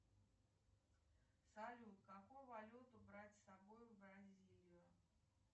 салют какую валюту брать с собой в бразилию